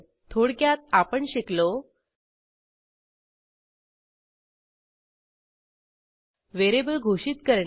थोडक्यात आपण शिकलो व्हेरिएबल घोषित करणे